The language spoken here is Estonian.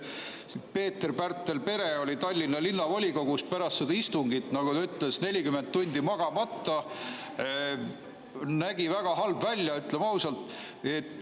Pärtel‑Peeter Pere oli Tallinna Linnavolikogus pärast seda istungit, nagu ta ütles, 40 tundi magamata, ta nägi väga halb välja, ütleme ausalt.